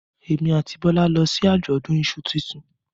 Èmi àti Bọ́lá lọ sí àjọ̀dún iṣu tuntun